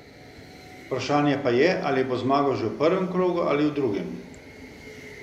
Vprašanje pa je, ali bo zmagal že v prvem krogu ali v drugem.